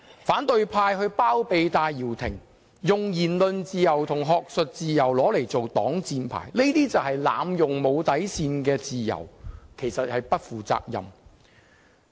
反對派包庇戴耀廷，以言論自由和學術自由作擋箭牌，濫用無底線的自由，實屬不負責任。